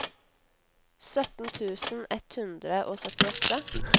sytten tusen ett hundre og syttiåtte